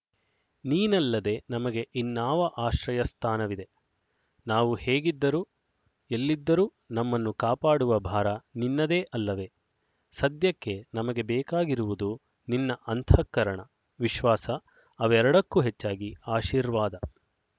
ನೀನಲ್ಲದೆ ನಮಗೆ ಇನ್ನಾವ ಆಶ್ರಯಸ್ಥಾನವಿದೆ ನಾವು ಹೇಗಿದ್ದರೂ ಎಲ್ಲಿದ್ದರೂ ನಮ್ಮನ್ನು ಕಾಪಾಡುವ ಭಾರ ನಿನ್ನದೇ ಅಲ್ಲವೆ ಸದ್ಯಕ್ಕೆ ನಮಗೆ ಬೇಕಾಗಿರುವುದು ನಿನ್ನ ಅಂತಃಕರಣ ವಿಶ್ವಾಸ ಅವರೆಡಕ್ಕೂ ಹೆಚ್ಚಾಗಿ ಆಶೀರ್ವಾದ